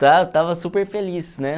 Estava estava super feliz, né?